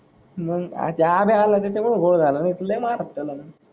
मंग अचा आजा आल त्याचा मूळ घोड झाल तुला हि मारत त्याला मी